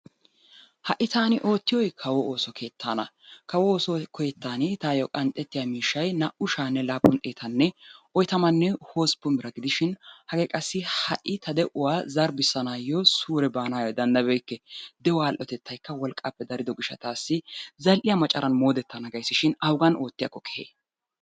Ha'i taani oottiyoy kawo ooso keettaana. Kawo ooso keettan tayyo qanxxettiya miishshay naa"u sha'anne laappun xeetanne oyitamanne hosppun bira gidishin hagee qassi ha'i ta de'uwa zarbbissanaayyoo suure baanaayyo danddayabeyikke de'uwa al'otettayikka worqqaappe darido gishshataassi zal'iya macaran moodettana gayisishin awugan moodettiyakko keehee?